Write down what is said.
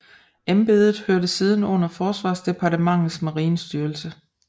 Embedet hørte siden under forsvarsdepartementets marinestyrelse